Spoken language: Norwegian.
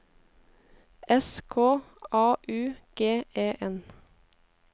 S K A U G E N